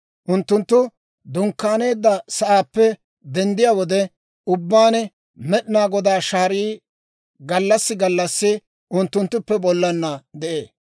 Unttunttu dunkkaaneedda sa'aappe denddiyaa wode ubbaan, Med'inaa Godaa shaarii gallassi gallassi unttunttuppe bollana de'ee.